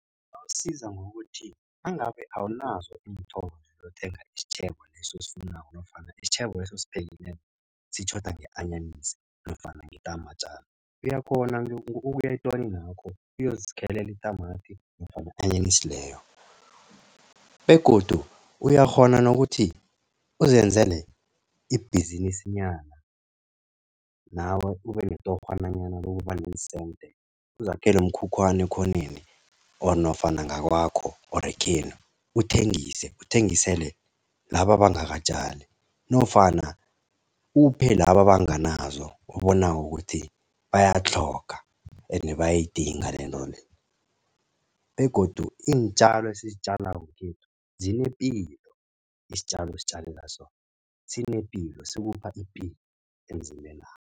Awusiza ngokuthi nangabe awanazo iinthoro zokuthenga isitjhebo leso osifunako nofana isitjhebeso osiphekileko sitjhoda nge-anyanisi nofana ngetamatjana. Uyakghona nje ngokuthi uye etoninakho uyozikhelela itamati nofana i-anyanisi leyo begodu uyakghona nokuthi uzenzele ibhizinisanyana nawe ube netorhonyana lokuba neensente. Uzakhele umkhukhwana ekhoneni or nofana ngakwakho nofana ekhenu or uthengise. Uthengisele laba abangakatjali nofana uphe labo abanganazo obonako ukuthi bayatlhoga, ende bayayidinga lento le begodu iintjalo ezisizitjalako ekhethu zinepilo. Isitjalo ozitjalela sona sinepilo sikupha ipilo emzimbenakho.